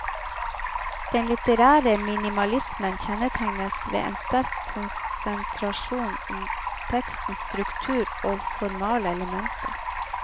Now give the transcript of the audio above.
Den litterære minimalismen kjennetegnes ved en sterk konsentrasjon om tekstens struktur og formale elementer.